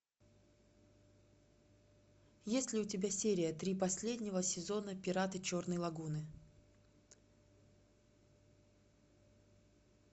есть ли у тебя серия три последнего сезона пираты черной лагуны